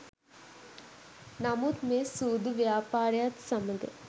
නමුත් මේ සූදු ව්‍යාපාරයත් සමග